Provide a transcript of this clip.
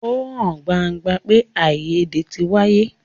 Ó hàn gbangba pé àìyédè tí wáyé.